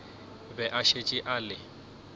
be a šetše a le